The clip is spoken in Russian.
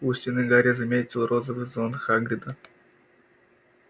у стены гарри заметил розовый зонт хагрида